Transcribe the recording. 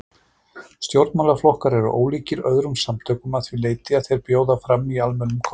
Stjórnmálaflokkar eru ólíkir öðrum samtökum að því leyti að þeir bjóða fram í almennum kosningum.